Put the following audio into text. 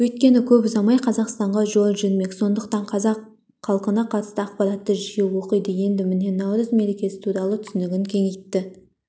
өйткені көп ұзамай қазақстанға жол жүрмек сондықтан қазақ халқына қатысты ақпараттарды жиі оқиды енді міне наурыз мерекесі туралы түсінігін кеңейтті